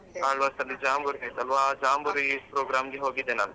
Alva's ಅಲ್ಲಿ jamboree ಆಯ್ತಲ್ವಾ ಆ ಜಾಂಬೂರಿ program ಗೆ ಹೋಗಿದ್ದೆ ನಾನು .